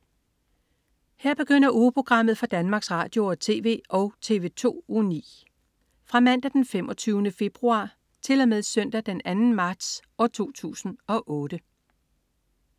Her begynder ugeprogrammet for Danmarks Radio- og TV og TV2 Uge 9 Fra Mandag den 25. februar 2008 Til Søndag den 2. marts 2008